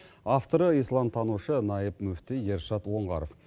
авторы исламтанушы наиб мүфти ершат оңғаров